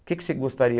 O que que você gostaria?